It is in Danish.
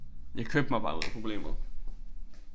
Jeg købte mig bare ud af problemet